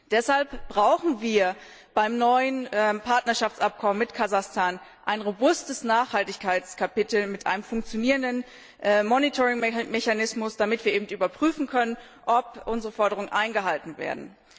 Deshalb brauchen wir beim neuen Partnerschaftsabkommen mit Kasachstan ein robustes Nachhaltigkeitskapitel mit einem funktionierenden Monitoringmechanismus, damit wir überprüfen können, ob unsere Forderungen eingehalten werden.